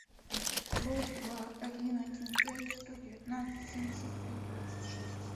плюс два один один пять сто девятнадцать семьдесят пять двадцать шесть